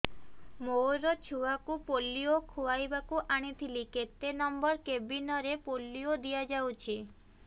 ମୋର ଛୁଆକୁ ପୋଲିଓ ଖୁଆଇବାକୁ ଆଣିଥିଲି କେତେ ନମ୍ବର କେବିନ ରେ ପୋଲିଓ ଦିଆଯାଉଛି